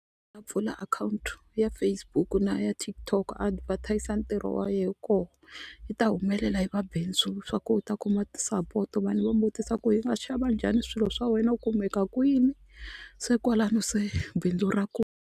A pfula akhawunti ya Facebook na ya TikTok a va thyakisa ntirho wa yena koho yi ta humelela yi va bindzu swa ku u ta kuma ti-support vanhu va mu vutisa ku hi nga xava njhani swilo swa wena u kumeka kwini se kwalano se bindzu ra .